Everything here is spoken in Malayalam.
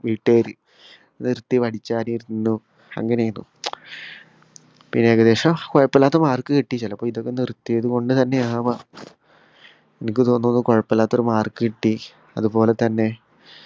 വീട്ട്കാര് നിർത്തി പഠിച്ചാനിരുന്നു അങ്ങനയായിരുന്നു പിന്നേയ്കദേശോ കൊയപ്പോല്ലാത്ത mark കിട്ടി ചെലപ്പോ ഇതൊക്കെ നിർത്തിയതു കൊണ്ട് തന്നെ ആവാം എനിക്കു തോന്നുന്നത് കൊയപ്പോല്ലാത്തൊരു mark കിട്ടി അത്പോലെ തന്നെ